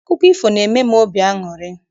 Akụkọ ifo n'eme m obi aṅụrị.